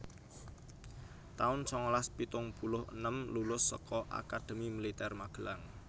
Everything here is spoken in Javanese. taun sangalas pitung puluh enem Lulus saka Akademi Militer Magelang